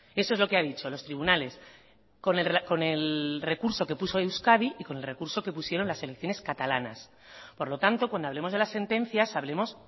eso es lo que ha dicho los tribunales con el recurso que puso euskadi y con el recurso que pusieron las selecciones catalanas por lo tanto cuando hablemos de las sentencias hablemos